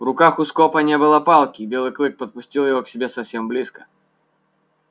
в руках у скопа не было палки и белый клык подпустил его к себе совсем близко